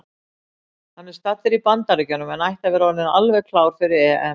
Hann er staddur í Bandaríkjunum en ætti að vera orðinn alveg klár fyrir EM.